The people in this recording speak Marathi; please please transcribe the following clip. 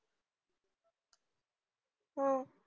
हम्म